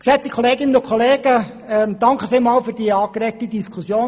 Geschätzte Kolleginnen und Kollegen, vielen Dank für die angeregte Diskussion.